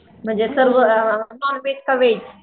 म्हणजे तो नॉनव्हेज चा व्हेज